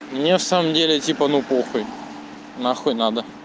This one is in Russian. мне в самом деле типа ну похуй нахуй надо